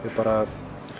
er bara